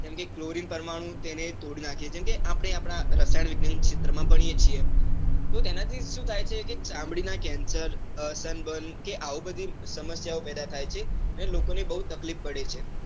કેમ કે કલોરીન પરમાણુ તેને તોડી નાખે છે, જેમ કે અપને આપણા રસાયણ વિજ્ઞાન ના ક્ષેત્ર માં ભણીયે છીએ, તો એના થી સુ થાય છે કે, ચામડીના કેન્સર તન બન કે આવી બધી સમસ્યા પેદા થાયછે, અને લોકોને બૌ તકલીફ પડે છે.